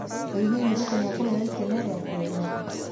ĩĩ hihi Ruto nĩ ekũheo itĩna rĩa keerĩ?